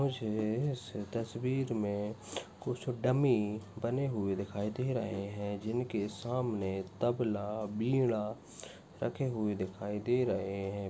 मुझे इस तस्वीर मे कुछ डमि बने हुए दिखाई दे रहे है जिनके सामने तबल वीणा रखे हुए दिखाई दे रहे है।